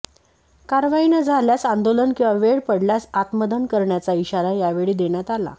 कारवाई न झाल्यास आंदोलन किंवा वेळ पडल्यास आत्मदहन करण्याचा इशारा यावेळी देण्यात आला